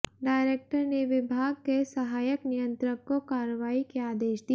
director ने विभाग के सहायक नियंत्रक को कार्रवाई के आदेश दिए